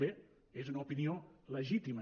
bé és una opinió legítima